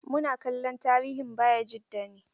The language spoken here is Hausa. Muna kallon tarihin Bayajida ne.